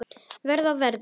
Verið á verði.